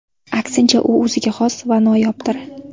Aksincha, u o‘ziga xos va noyobdir.